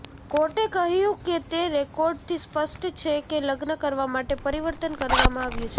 કોર્ટે કહ્યું કે તે રેકોર્ડથી સ્પષ્ટ છે કે લગ્ન કરવા માટે પરિવર્તન કરવામાં આવ્યું છે